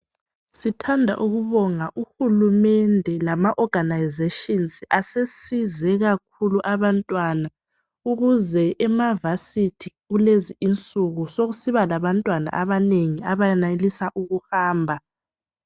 Sithanda ukubonga uhulumende lama organizations asesize kakhulu abantwana ukuze emavasithi kulezi insuku sokusiba alabantwana abanengi abayanelisa ukuhamba.